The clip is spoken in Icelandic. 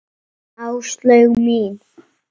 Áslaug mín!